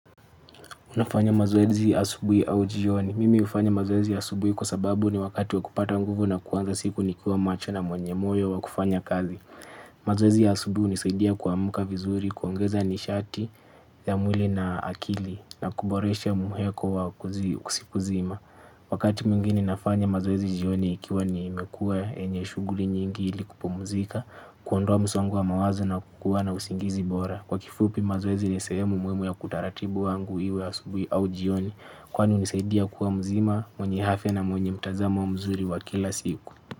Unafanya mazoezi asubui au jioni. Mimi ufanya mazoezi asubui kwa sababu ni wakati wa kupata nguvu na kuanza siku ni kiwa macho na mwenye moyo wa kufanya kazi. Mazoezi ya asubui unisaidia kuamka vizuri, kuongeza nishati ya mwili na akili na kuboresha muheko wa kusipuzima. Wakati mwingine nafanya mazoezi jioni ikiwa nimekuwa yenye shughuli nyingi ili kupu mzika, kuondoa msongo wa mawazo na kukuwa na usingizi bora. Kwa kifupi mazoezi nisehemu muhimu ya kutaratibu wangu iwe asubui au jioni. Kwani unisaidia kuwa mzima, mwenye afya na mwenye mtazamo mzuri wa kila siku.